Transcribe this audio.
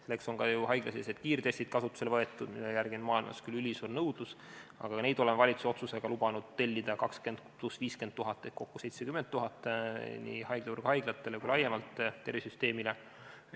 Selleks on kasutusele võetud ka haiglasisesed kiirtestid, mille järele maailmas on ülisuur nõudlus, aga ka neid oleme valitsuse otsusega lubanud tellida 20 000 + 50 000 ehk kokku 70 000 nii haiglavõrgu haiglatele kui ka tervishoiusüsteemile laiemalt.